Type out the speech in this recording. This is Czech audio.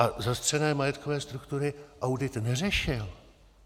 A zastřené majetkové struktury audit neřešil.